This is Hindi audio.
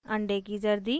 अंडे की जर्दी